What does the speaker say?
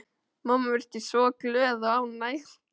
Mamma virtist svo glöð og ánægð.